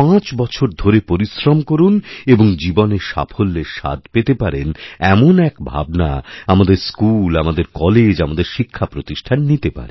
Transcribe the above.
পাঁচ বছর ধরে পরিশ্রম করুন এবং জীবনে সাফল্যের স্বাদ পেতে পারেন এমন একভাবনা আমাদের স্কুল আমাদের কলেজ আমাদের শিক্ষাপ্রতিষ্ঠান নিতে পারে